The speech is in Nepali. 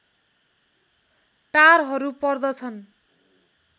टारहरू पर्दछन्